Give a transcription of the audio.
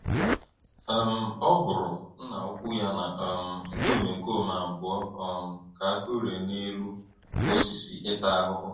um Ọ hụrụ Nna-ukwu ya na um ndị omekome abụọ um ka a kụrie n’elu osisi ịta ahụhụ.